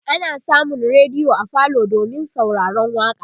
ana samun rediyo a falo domin sauraron waƙa